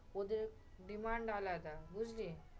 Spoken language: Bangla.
ওদের demand আলাদা, বুঝলি?